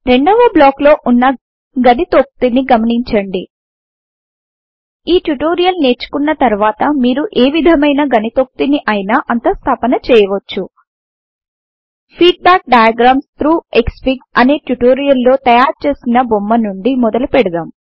రెండవ బ్లాక్ లో వున్న గణితోక్తి ని గమనించండి ఈ ట్యుటోరియల్ నేర్చుకున్న తర్వాత మీరు ఏ విధమైన గణితోక్తి ని అయిన అంతః స్థాపన చేయవచ్చు ఫీడ్బ్యాక్ డయాగ్రామ్స్ థ్రౌగ్ క్స్ఫిగ్ అనే ట్యుటోరియల్ లో తయారు చేసిన బొమ్మ నుండి మొదలు పెడదాం